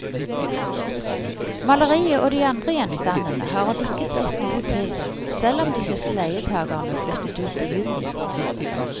Maleriet og de andre gjenstandene har hun ikke sett noe til, selv om de siste leietagerne flyttet ut i juni.